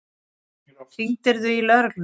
Hringdirðu í lögregluna?